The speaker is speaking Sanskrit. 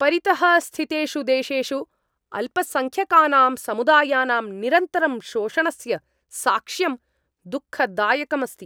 परितः स्थितेषु देशेषु अल्पसङ्ख्यकानां समुदायानां निरन्तरम् शोषणस्य साक्ष्यं दुःखदायकम् अस्ति।